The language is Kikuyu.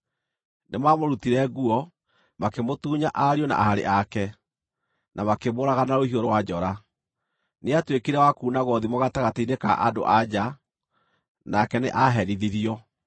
Nĩmamũrutire nguo, makĩmũtunya ariũ na aarĩ ake, na makĩmũũraga na rũhiũ rwa njora. Nĩatuĩkire wa kuunagwo thimo gatagatĩ-inĩ ka andũ-a-nja, nake nĩ aaherithirio.